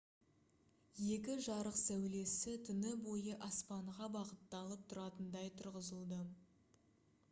екі жарық сәулесі түні бойы аспанға бағытталып тұратындай тұрғызылды